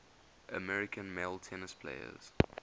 american male tennis players